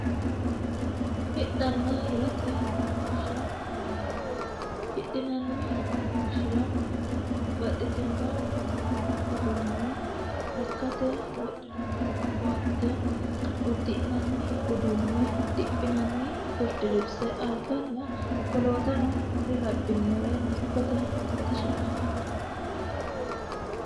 hidhanna hirate mereersha yinannihu hidhinanni mereershira babaxxitino mini uduunne lekkate wodinanni koatte uddi'nanni uduunne diphinanni birdilibise alganna wolootano kuri labbinore dikkote mereershira afi'nanni